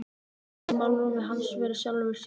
Umhyggjan í málrómi hans var í sjálfu sér teikn.